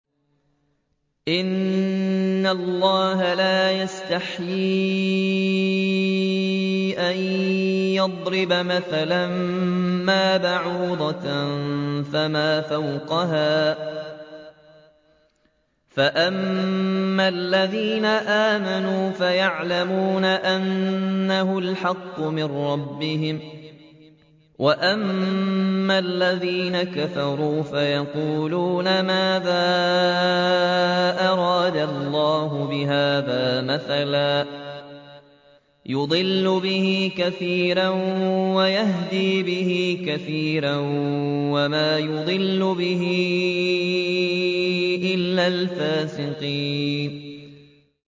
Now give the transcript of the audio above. ۞ إِنَّ اللَّهَ لَا يَسْتَحْيِي أَن يَضْرِبَ مَثَلًا مَّا بَعُوضَةً فَمَا فَوْقَهَا ۚ فَأَمَّا الَّذِينَ آمَنُوا فَيَعْلَمُونَ أَنَّهُ الْحَقُّ مِن رَّبِّهِمْ ۖ وَأَمَّا الَّذِينَ كَفَرُوا فَيَقُولُونَ مَاذَا أَرَادَ اللَّهُ بِهَٰذَا مَثَلًا ۘ يُضِلُّ بِهِ كَثِيرًا وَيَهْدِي بِهِ كَثِيرًا ۚ وَمَا يُضِلُّ بِهِ إِلَّا الْفَاسِقِينَ